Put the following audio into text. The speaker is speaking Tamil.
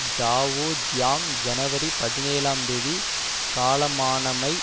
ஜாவோ ஜியாங் ஜனவரி பதினேழாம் தேதி காலமானமை